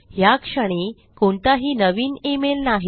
ह्याक्षणी कोणताही नवीन ईमेल नाही